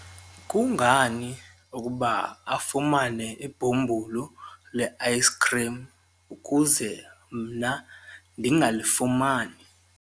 kungani ukuba afumane ibhumbulu le-ayisikhrim ukuze mna ndingalifumani?